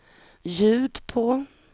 ljud på